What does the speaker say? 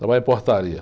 Trabalho em portaria.